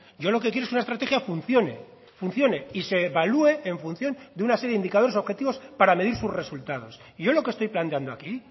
yo lo que quiero es que una estrategia funciones y se evalúe en función de una serie de indicadores objetivos para medir sus resultados y yo lo que estoy planteando aquí